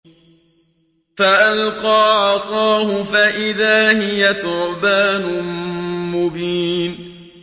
فَأَلْقَىٰ عَصَاهُ فَإِذَا هِيَ ثُعْبَانٌ مُّبِينٌ